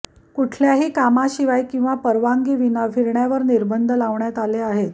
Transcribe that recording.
कुठल्याही कामाशिवाय किंवा परवानगीविना फिरण्यावर निर्बंध लावण्यात आले आहेत